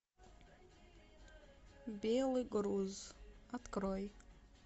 белый груз открой